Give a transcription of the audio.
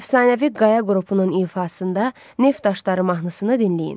Əfsanəvi Qaya qrupunun ifasında Neft daşları mahnısını dinləyin.